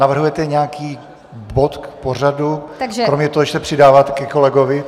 Navrhujete nějaký bod k pořadu kromě toho, že se přidáváte ke kolegovi?